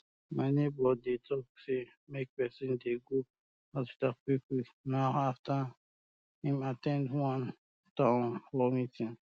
my neighbor dey talk say make people dey go um hospital quick quick now ooo after um im um at ten d one town hall meeting